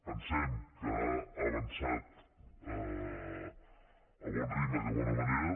pensem que ha avançat a bon ritme i de bona manera